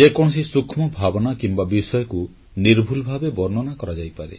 ଯେକୌଣସି ସୂକ୍ଷ୍ମ ଭାବନା କିମ୍ବା ବିଷୟକୁ ନିର୍ଭୁଲ ଭାବେ ବର୍ଣ୍ଣନା କରାଯାଇପାରେ